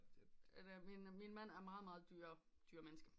Min mand er meget meget dyremenneske